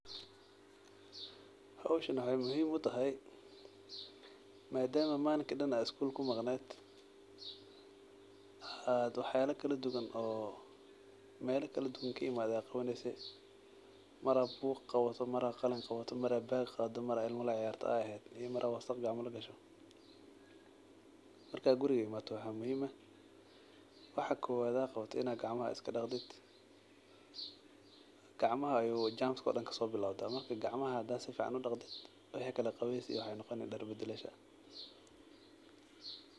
Howshaan wexey muhiim utahay madam ad manta Dan iskul kumaqned oo mela kaladuwan oo ad qawaneyse mar ad bug qawato mar ad qalin qawato iyo bag qawato iyo Mar ad wasaq ad eheed oo gacmaha lagasho marka guriga gasho waxa muhiim eh in ad gacmaha daqatid oo gacmahs ayu jermis kabilowda waxa kale wuxu noqoni qawees iyo far badalasho.